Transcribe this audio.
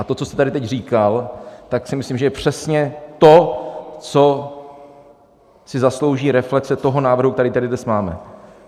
A to, co jste tady teď říkal, tak si myslím, že je přesně to, co si zaslouží reflexe toho návrhu, který tady dnes máme.